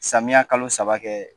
Samiya kalo saba kɛ